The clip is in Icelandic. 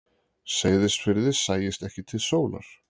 Seyðisfirði sæist ekki til sólar.